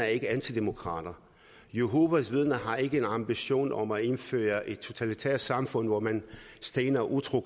ikke antidemokrater jehovas vidner har ikke en ambition om at indføre et totalitært samfund hvor man stener utro